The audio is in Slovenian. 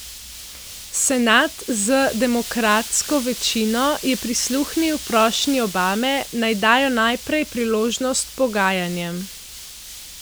Senat z demokratsko večino je prisluhnil prošnji Obame, naj dajo najprej priložnost pogajanjem.